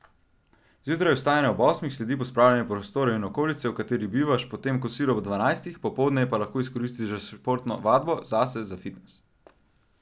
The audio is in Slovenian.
Zjutraj vstajanje ob osmih, sledi pospravljanje prostorov in okolice, v kateri bivaš, potem kosilo ob dvanajstih, popoldne pa lahko izkoristiš za športno vadbo, zase, za fitnes ...